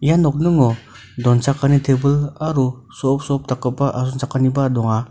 ia nokningo donchakani tebil aro so·op-so·op dakgipa asongchakaniba donga.